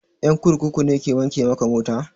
Ƴan kurkuku ne ke wanke maka mota?